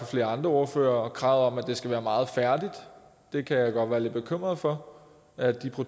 flere andre ordførere nemlig kravet om at det skal være meget færdigt jeg kan godt være lidt bekymret for at de